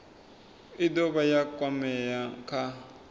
i dovha ya kwamea kha